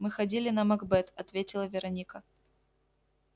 мы ходили на макбет ответила вероника